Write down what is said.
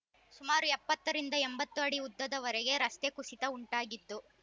ಸುಮಾರು ಎಪ್ಪತ್ತ ರಿಂದ ಎಂಬತ್ತು ಅಡಿ ಉದ್ದದ ವರೆಗೆ ರಸ್ತೆ ಕುಸಿತ ಉಂಟಾಗಿದ್ದು